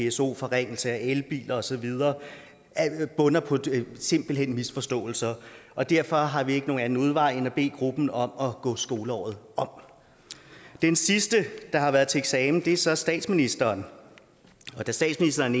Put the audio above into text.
pso forringelse af elbiler og så videre bunder simpelt hen i misforståelser og derfor har vi ikke nogen anden udvej end at bede gruppen om at gå skoleåret om den sidste der har været til eksamen er så statsministeren og da statsministeren